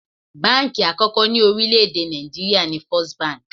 Báǹkì àkọ́kọ́ ni orílẹ̀ èdè Nàìjíríà ni First Bank.